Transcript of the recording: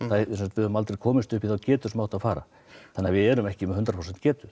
við höfum aldrei komist upp í þá getu sem átti að fara þannig að við erum ekki með hundrað prósent getu